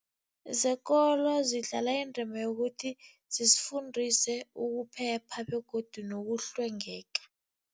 Zekolo zidlala indima yokuthi zisifundise ukuphepha begodu nokuhlwengeka.